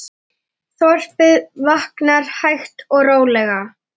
Þorpið vaknar hægt og rólega.